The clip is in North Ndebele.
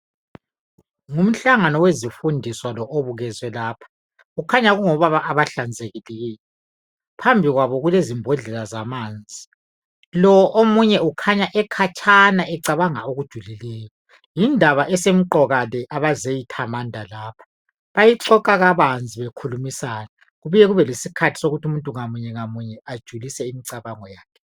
ngumhlangano wezifundiswa lowu obukezwe lapha kukhanya kungobaba abahlanzekileyo phambi kwabo kulezimbodlela zamanzi lo omunye ukhanya ekhatshana ecabanga okujulileyo yindaba esemqoka le abazeyithamanda lapha bayixoxa kabanzi bekhulumisana kubuye kube lesikhathi sokuthi umuntu ngamunye ngamunye ajulise imicabango yakhe